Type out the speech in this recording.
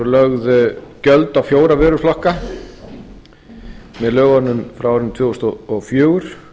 voru lögð gjöld á fjóra vöruflokka með lögunum frá árinu tvö þúsund og fjögur